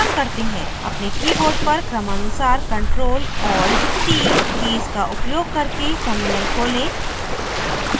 अपने keyboard पर क्रमानुसार ctrl + alt + t कीज का उपयोग करके terminal खोलें